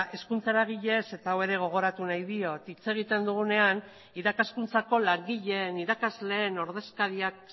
hezkuntza eragileez eta hau ere gogoratu nahi diot hitz egiten dugunean irakaskuntzako langileen irakasleen ordezkariak